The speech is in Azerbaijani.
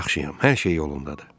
Yaxşıyam, hər şey yolundadır.